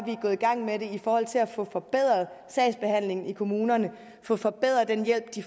gået i gang med at få forbedret sagsbehandlingen i kommunerne få forbedret den hjælp de